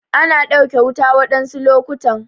Ana ɗauke wuta waɗansu lokutan.